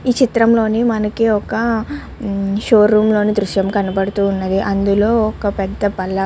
ఈ చిత్రం లోని మనకి ఒక షో రూం లోని దృశ్యం కనపడుతుంది. అందులోని ఒక పెద్ద బల్ల --